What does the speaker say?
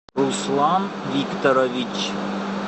руслан викторович